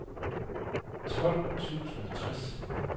tolv tusind og tres